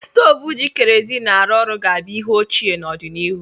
Stovu ji kerozin arụ orụ ga-abụ ihe ochie n'ọdịnihu.